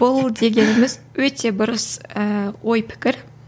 ол дегеніміз өте бұрыс ыыы ой пікір